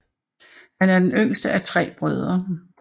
Han er den yngste af tre brødre